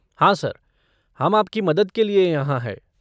हाँ सर, हम आपकी मदद के लिए यहाँ हैं।